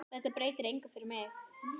Þetta breytir engu fyrir mig.